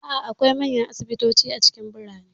A'a, akwai manyan asibitoci a cikin birane.